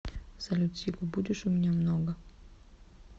салют сигу будешь у меня много